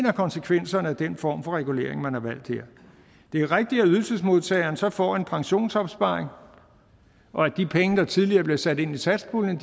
af konsekvenserne af den form for regulering man her har valgt det er rigtigt at ydelsesmodtageren så får en pensionsopsparing og at de penge der tidligere blev sat ind i satspuljen